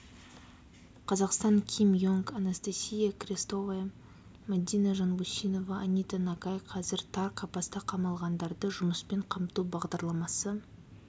қазақстан ким йонг анастасия крестовая мадина жанбусинова анита нагай қазір тар қапасқа қамалғандарды жұмыспен қамту бағдарламасы